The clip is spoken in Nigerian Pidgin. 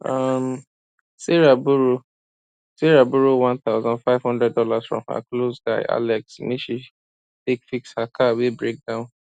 um sarah borrow sarah borrow one thousand five hundred dollars from her close guy alex make she take fix her car wey break down